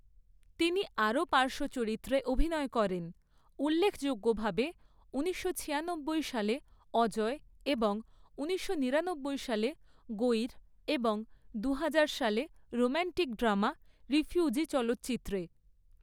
তিনি আরও পার্শ্ব চরিত্রে অভিনয় করেন, উল্লেখযোগ্যভাবে ঊনিশশো ছিয়ানব্বই সালে 'অজয়' এবং ঊনিশশো নিরানব্বই সালে 'গৈর' এবং দুহাজার সালে রোমান্টিক ড্রামা 'রিফিউজি' চলচ্চিত্রে।